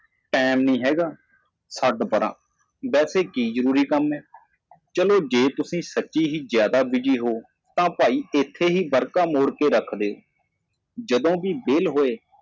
ਕੋਈ ਸਮਾਂ ਨਹੀਂ ਇਸ ਨੂੰ ਛੱਡ ਵੈਸੇ ਵੀ ਜ਼ਰੂਰੀ ਕੰਮ ਕੀ ਹੈ ਜੇ ਤੁਸੀਂ ਸੱਚਮੁੱਚ ਵਿਅਸਤ ਹੋ ਤਾਂ ਆਓ ਇਸ ਲਈ ਭਰਾ ਇੱਥੇ ਪਰਨਾ ਨੂੰ ਮੋੜੋ ਜਦੋਂ ਵੀ ਸਮਾਂ ਮਿਲਦਾ ਹੈ